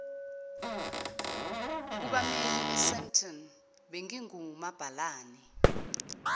kubammeli esandton ngingumabhalane